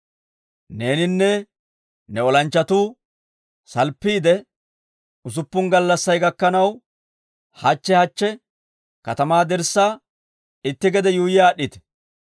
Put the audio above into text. Neeninne ne olanchchatuu salppiide, usuppun gallassay gakkanaw hachche hachche katamaa dirssaa itti gede yuuyyi aad'd'ite.